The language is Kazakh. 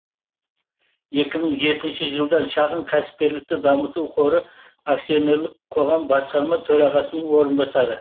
екі мың жетінші жылдан шағын кәсіпкерлікті дамыту қоры акционерлік қоғам басқарма төрағасының орынбасары